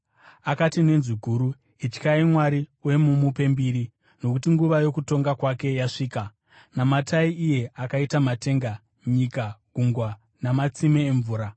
Akati nenzwi guru, “Ityai Mwari uye mumupe mbiri, nokuti nguva yokutonga kwake yasvika. Namatai iye akaita matenga, nyika, gungwa namatsime emvura.”